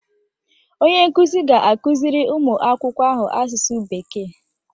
Onye nkuzi ga-akụziri ụmụ akwụkwọ ahụ Asụsụ Bekee